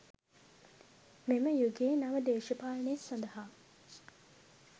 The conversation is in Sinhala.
මෙම යුගයේ නව දේශපාලනය සඳහා